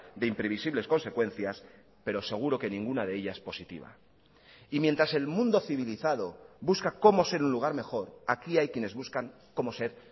de imprevisibles consecuencias pero seguro que ninguna de ellas positiva y mientras el mundo civilizado busca cómo ser un lugar mejor aquí hay quienes buscan cómo ser